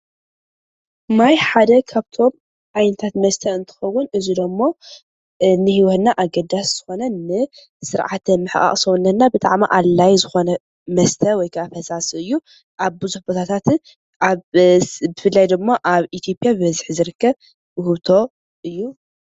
ማይ ሓደ ካብቶም ዓይነታት መስተ እንትኸዉን ።እዚ ድማ ንሂወት ኣገዳሲ ዘኾነ ንስርዓተ ምሕቓቕ ሰዉነትና ብጣዕሚ ኣዲላይ ዘኾነ መስተ ወይ ካዓ ፈሳሲ አዩ፡፡ ኣብ ቡዘሕ ቦታታት ብፍላይ ደሞ ኣብ ኢትዬጵያ ብበዝሒ ዝርክብ ዉህብቶ እዩ፡፡